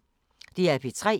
DR P3